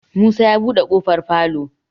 Musa ya buɗe kofar falo.